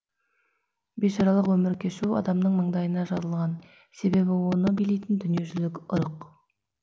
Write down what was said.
бейшаралық өмір кешу адамның маңдайына жазылған себебі оны билейтін дүниежүзілік ырық